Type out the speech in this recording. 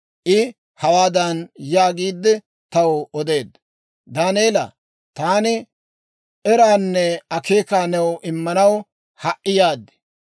I hawaadan yaagiide, taw odeedda; «Daaneela, taani eraanne akeekaa new immanaw ha"i yaad.